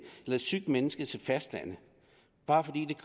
eller et sygt menneske til fastlandet bare fordi